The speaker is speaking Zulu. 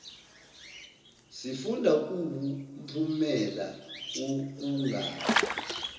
sifunda kuwumphumela wokungabi